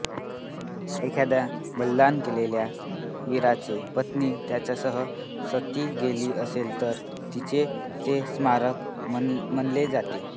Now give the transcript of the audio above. एखाद्या बलिदान केलेल्या वीराची पत्नी त्याच्यासह सती गेली असेल तर तिचे ते स्मारक मानले जाते